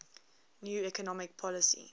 new economic policy